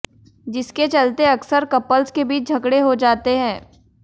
जिसके चलते अक्सर कपल्स के बीच झगड़े हो जाते हैं